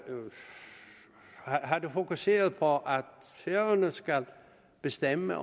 fokuseret på at færøerne skulle bestemme